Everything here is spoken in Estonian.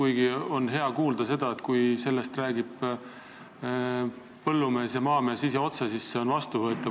Hea on kuulda, kui sellest räägib otse põllumees ja maamees ise – siis see on vastuvõetav.